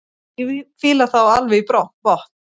Ég fíla þá alveg í botn.